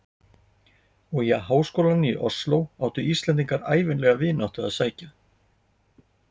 Og í háskólann í Osló áttu Íslendingar ævinlega vináttu að sækja.